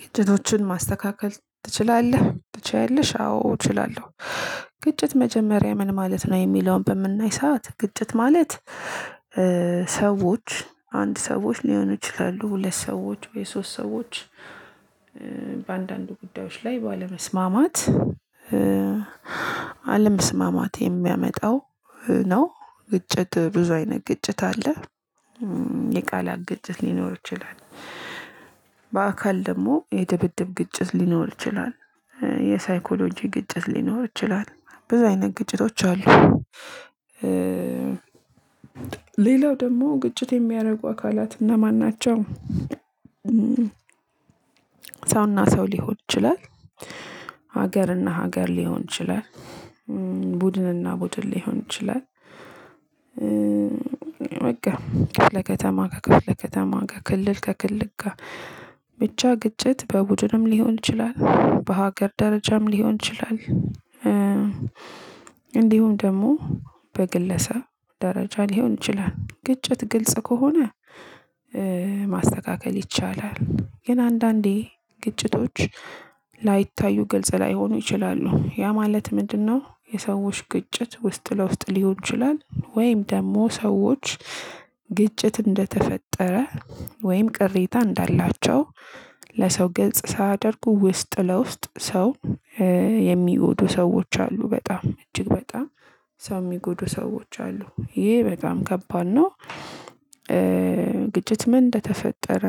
ግጭቶችን ማስተካከል ትችላለህ? ትችያለሽ? አዎ እችላለሁ። ግጭት መጀመሪያ ምን ማለት ነው የሚለውን በምናይ ሰዓት ግጭት ማለት። ሰዎች አንድ ሰዎች ሊሆኑ ይችላሉ ሁለት ሰዎች ወይ ሶስት ሰዎች። በአንዳንዱ ጉዳዮች ላይ ባለመስማማት አለመስማማት የሚያመጣው ነው። ግጭት ብዙ አይነት ግጭት አለ። የቃላት ግጭት ሊኖር ይችላል። በአካል ደግሞ የድብድብ ግጭት ሊኖር ይችላል፤ የሳይኮሎጂ ግጭት ሊኖር ይችላል ብዙ አይነት ግጭቶች አሉ። ሌላው ደግሞ ግጭት የሚያደርጉ አካላት እነማን ናቸው? ሰው እና ሰው ሊሆን ይችላል። ሀገር እና ሀገር ሊሆን ይችላል። ቡድን እና ቡድን ሊሆን ይችላል። ክፈለ ከተማ ከክፈለ ከተማ ሊሆን ይችላል፤ ክልል ከክልል ጋር ብቻ ግጭት በቡድንም ሊሆን ይችላል በሃገርም ደረጃም ሊሆን ይችላል። እንዲሁም ደግሞ በግለሰብ ደረጃ ሊሆን ግጭት ግልጽ ከሆነ። ማስተካከል ይቻላል። ግን አንዳንዴ ግጭቶች ላይታዩ ገልጸ ላይሆኑ ይችላሉ ያ ማለት ምንድነው? የሰዎች ግጭት ውስጥ ለውስጥ ሊሆን ይችላል ወይም ደግሞ ሰዎች ግጭት እንደተፈጠረ ወይም ቅሬታ እንዳላቸው ለሰው ግልጽ ሳያደርጉ ውስጥ ለውስጥ ሰው የሚወዱ ሰዎች አሉ በጣም እጅግ በጣም ሰው የሚጎዱ ሰዎች አሉ ይሄ በጣም ከባድ ነው። ግጭት ምን እንደተፈጠረ